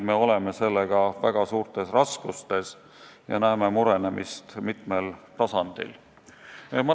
Me oleme sellega väga suurtes raskustes ja näeme murenemist mitmel tasandil.